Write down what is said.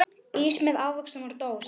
Ís með ávöxtum úr dós.